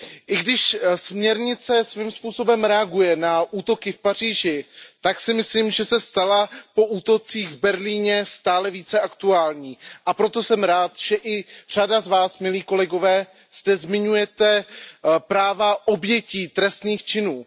I když směrnice svým způsobem reaguje na útoky v Paříži, tak si myslím, že se stala po útocích v Berlíně stále více aktuální. A proto jsem rád, že i řada z vás, milí kolegové, zde zmiňujete práva obětí trestných činů.